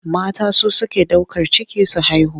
Mata su suke ɗaukar ciki su haihu.